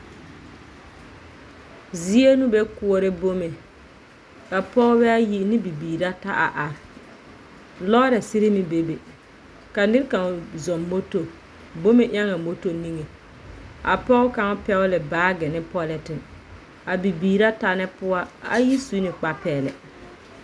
Zie no bɛ koɔrɛ bome. Ka pɔɔbɛaayi ne bibiir rata a are. Lɔɔrɛsere meŋ bebe. Ka nerkão zɔm moto, bome ɛoŋaa moto niŋe. a pɔɔ kaŋ peɛole baage ne polente. A bibiir rata nɛ poɔ, a ayi su ne kpapɛlɛ.